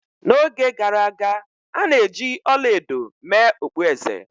N'oge gara aga, a na-eji ọla edo mee okpueze.